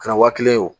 Kɛra wa kelen ye o